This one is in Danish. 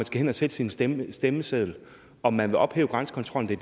skal hen at sætte en stemme på stemmesedlen om man vil ophæve grænsekontrollen